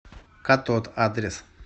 катод адрес